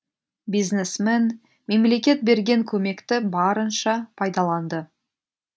бизнесмен мемлекет берген көмекті барынша пайдаланды